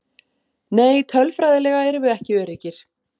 Nei tölfræðilega erum við ekki öruggir.